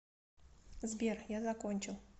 сбер я закончил